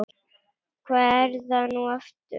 Hvað er það nú aftur?